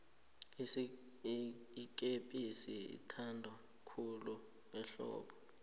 ikepisi ithanwa khulu ehlobo